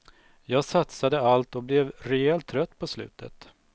Jag satsade allt och blev rejält trött på slutet.